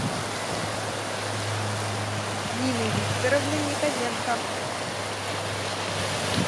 нины викторовны яковенко